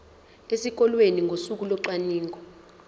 esikoleni ngosuku locwaningo